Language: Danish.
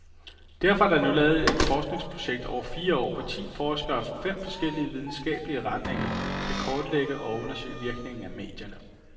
Derfor er der nu lavet et forskningsprojekt over fire år, hvor ti forskere fra fem forskellige videnskabelige retninger, skal kortlægge og undersøge virkningen af medierne.